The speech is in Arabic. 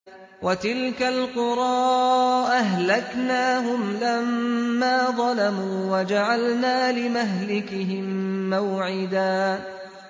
وَتِلْكَ الْقُرَىٰ أَهْلَكْنَاهُمْ لَمَّا ظَلَمُوا وَجَعَلْنَا لِمَهْلِكِهِم مَّوْعِدًا